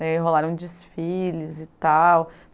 Daí rolaram desfiles e tal.